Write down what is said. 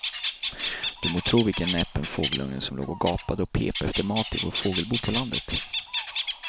Du må tro vilken näpen fågelunge som låg och gapade och pep efter mat i vårt fågelbo på landet.